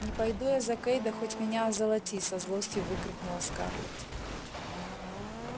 не пойду я за кэйда хоть меня озолоти со злости выкрикнула скарлетт